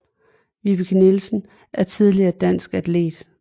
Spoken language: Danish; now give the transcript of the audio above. Vibeke Nielsen er tidligere en dansk atlet